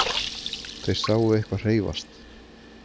Þeir sáu eitthvað hreyfast.